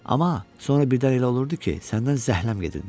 Amma sonra birdən elə olurdu ki, səndən zəhləm gedirdi.